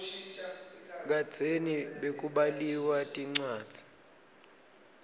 kadzeni bekubaliwa tincwadzi